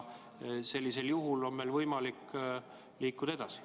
Sellisel juhul on meil võimalik liikuda edasi.